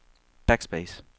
backspace